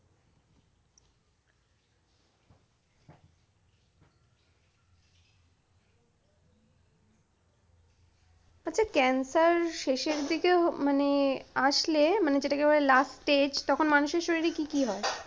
আচ্ছা cancer শেষের দিকেও মানে আসলে মানে যেটাকে বলে last stage তখন মানুষের শরীরে কি কি হয়ে?